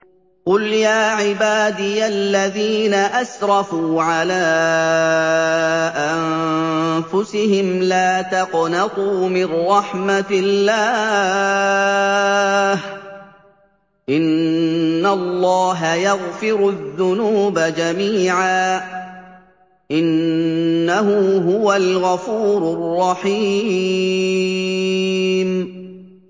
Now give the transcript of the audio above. ۞ قُلْ يَا عِبَادِيَ الَّذِينَ أَسْرَفُوا عَلَىٰ أَنفُسِهِمْ لَا تَقْنَطُوا مِن رَّحْمَةِ اللَّهِ ۚ إِنَّ اللَّهَ يَغْفِرُ الذُّنُوبَ جَمِيعًا ۚ إِنَّهُ هُوَ الْغَفُورُ الرَّحِيمُ